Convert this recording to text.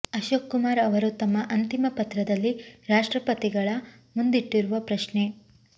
ಅಶೋಕ್ ಕುಮಾರ್ ಅವರು ತಮ್ಮ ಅಂತಿಮ ಪತ್ರದಲ್ಲಿ ರಾಷ್ಟ್ರಪತಿಗಳ ಮುಂದಿಟ್ಟಿರುವ ಪ್ರಶ್ನೆ